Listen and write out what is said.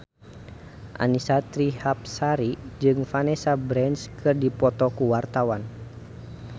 Annisa Trihapsari jeung Vanessa Branch keur dipoto ku wartawan